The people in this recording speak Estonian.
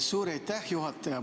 Suur aitäh, juhataja!